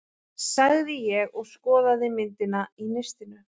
sagði ég og skoðaði myndina í nistinu.